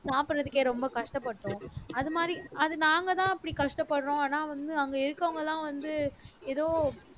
சாப்பிடுறதுக்கே ரொம்ப கஷ்டப்பட்டோம் அது மாதிரி அது நாங்கதான் அப்படி கஷ்டப்படுறோம் ஆனா வந்து அங்கே இருக்கிறவங்கதான் வந்து ஏதோ